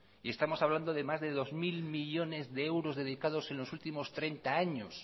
y estamos hablando de más de dos mil millónes de euros dedicados en los últimos treinta años